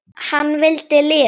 Hann vildi lifa.